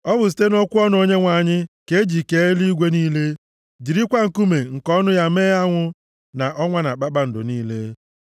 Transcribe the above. Ọ bụ site nʼokwu ọnụ Onyenwe anyị ka e ji kee eluigwe niile, jirikwa nkuume nke ọnụ ya mee anwụ, na ọnwa na kpakpando niile.